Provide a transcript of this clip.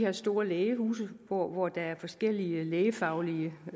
og store lægehuse hvor hvor der er forskellige lægefaglige